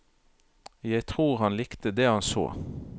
Jeg tror han likte det han så.